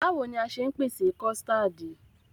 Báwoni a ṣe ń pèsè kọ̀stáádì?